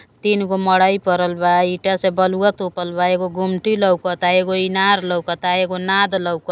तीन गो मरइ परल बा ईटा से बलुवा तोपल बा एगो गुमटी लोउकता एगो इनार लोउकता एगो नाद लोउक।